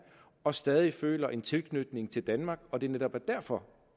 og stadig føler en tilknytning til danmark og det netop er derfor